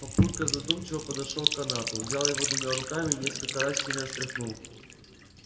папулька задумчиво подошёл к канату взял его двумя руками и несколько раз сильно встряхнул